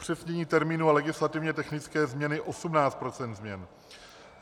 Upřesnění termínu a legislativně technické změny 18 % změn.